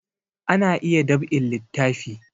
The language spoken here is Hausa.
Ana iya dab'in littafi